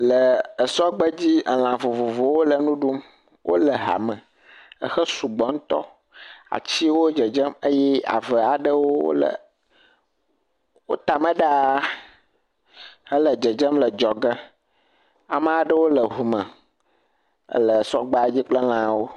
ɛɛ esɔgbedzi, elã vovovowo le nu ɖum. Wole hame ehe sugbɔ ŋutɔ. Atsiwo dzedzem eye ave aɖewo le wo tame ɖaa hele dzedzem le dzɔge. Ama ɖewo le ŋume, le sɔgbedzi kple lãwo.